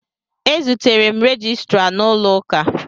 E zutere m rejistra n'ụlọụka.